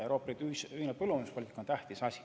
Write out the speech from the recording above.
Euroopa Liidu ühine põllumajanduspoliitika on tähtis asi.